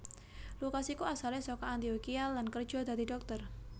Lukas iku asalé saka Antiokhia lan kerja dadi dhokter